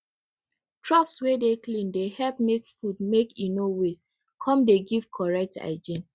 troughs wey dey clean dey help make food make e no waste come dey give correct hygiene